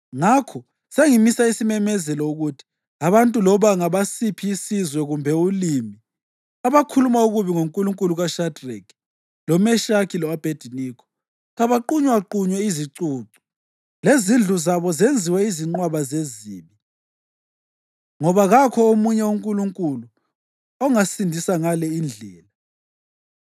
Ngakho sengimisa isimemezelo ukuthi abantu loba ngabasiphi isizwe kumbe ulimi abakhuluma okubi ngoNkulunkulu kaShadreki, loMeshaki lo-Abhediniko kabaqunywaqunywe izicucu, lezindlu zabo zenziwe izinqwaba zezibi, ngoba kakho omunye uNkulunkulu ongasindisa ngale indlela.”